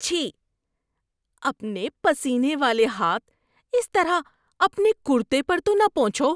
چھی۔ اپنے پسینے والے ہاتھ اس طرح اپنے کُرتے پر تو نہ پونچھو۔